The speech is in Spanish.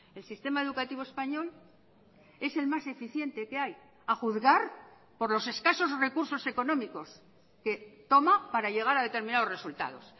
el sistema educativo español es el más eficiente que hay a juzgar por los escasos recursos económicos que toma para llegar a determinados resultados